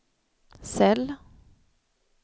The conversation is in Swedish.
cell